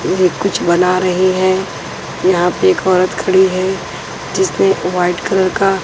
कुछ बना रही है यहां पे एक औरत खड़ी है जिसमें वाइट कलर का।